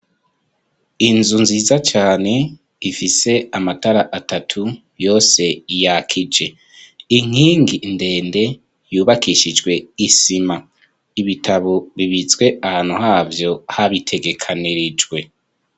Inzu nziza cane, ifise amatara atatu yose yakije. Inkingi ndende, yubakishijwe isima. Ibitabo bibitswe ahantu havyo habitegekanirijwe.